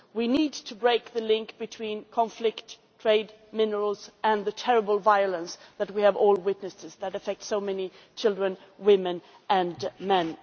We need to break the link between conflict trade minerals and the terrible violence that we have all witnessed, which affects so many children, women and men.